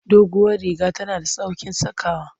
Duguwar riga tana da sauƙin sakawa.